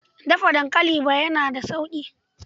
Dafa dankali ba yana da sauƙi.